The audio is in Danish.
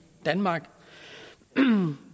danmark